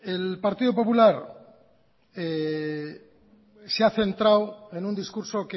el partido popular se ha centrado en un discurso